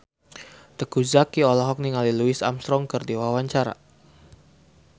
Teuku Zacky olohok ningali Louis Armstrong keur diwawancara